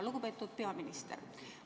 Lugupeetud peaminister!